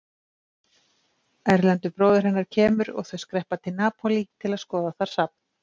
Erlendur bróðir hennar kemur og þau skreppa til Napólí til að skoða þar safn.